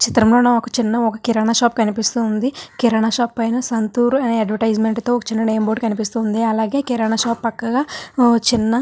చిత్రం లొ ఒక చిన్న కిరణం షాప్ కనిపిస్తూ వుంది కిరణం షాప్ పైన సంతూర్ అనే అద్వేర్స్తిమేంట్ తో ఒక చిన్న నెంబర్ బోర్డు కనిపిస్తూ వుంది అలాగే కిరణం షాప్ పక్కన ఒక చిన్న --